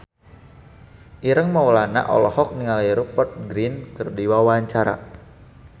Ireng Maulana olohok ningali Rupert Grin keur diwawancara